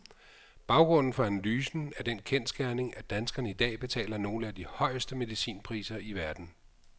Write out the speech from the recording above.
Baggrunden for analysen er den kendsgerning, at danskerne i dag betaler nogle af de højeste medicinpriser i verden.